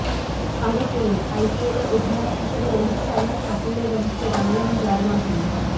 আরও পড়ুনঃআইপিএলে অধিনায়ক হিসেবে রোহিত শর্মার সাফল্যের রহস্য জানালেন জয়াবর্ধনে